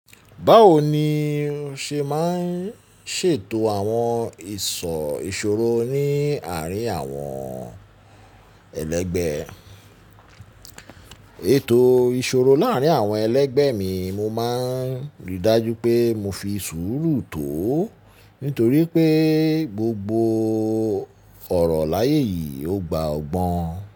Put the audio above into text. Báwo ni oṣe máa ń ṣètò àwọn ìṣò ìṣòro ní àárín àwọn ẹlẹgbẹ́? Ètò ìṣòro láàrín àwọn ẹlẹgbẹ́ mi, mo máa ń rí i dájú pé mo fi sùúrù tó ó, nítorí pé gbogbo ọ̀rọ̀ láyé yìí ó gba ọgbọ́n.